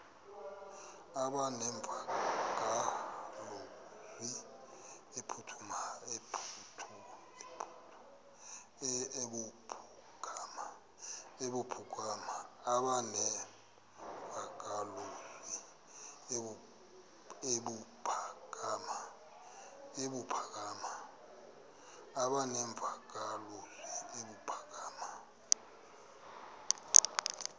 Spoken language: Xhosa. aba nemvakalozwi ebuphakama